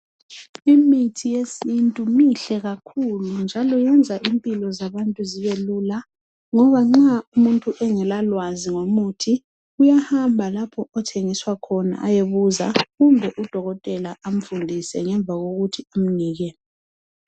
Imithi yesintu mihle kakhulu njalo iyenza impilo zabantu zibelula ngoba nxa umuntu engela lwazi ngomuthi uyahamba lapho othengiswa khona ayebuza kumbe udokotela amfundise ngemva kokuthi bamnike.